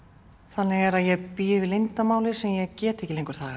þannig er að ég bý yfir leyndarmáli sem ég get ekki lengur þagað